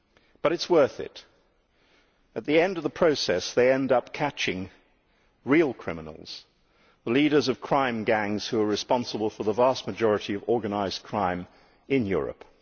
but it is worth it. At the end of the process, they end up catching real criminals the leaders of crime gangs who are responsible for the vast majority of organised crime in Europe.